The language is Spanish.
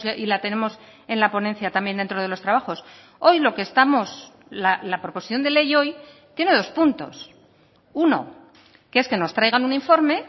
y la tenemos en la ponencia también dentro de los trabajos hoy lo que estamos la proposición de ley hoy tiene dos puntos uno que es que nos traigan un informe